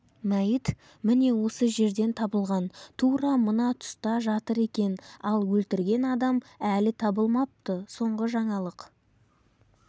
мәйіт міне осы жерден табылған тура мына тұста жатыр екен ал өлтірген адам әлі табылмапты соңғы жаңалық